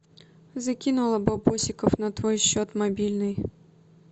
закинула бабосиков на твой счет мобильный